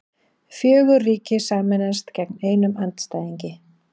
Fjögur ríki sameinast gegn einum andstæðingi